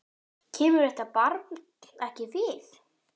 Kemur þetta barn ekkert við.